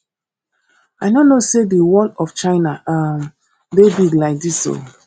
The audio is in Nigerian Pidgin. i no know say the wall of china um dey big like dis oo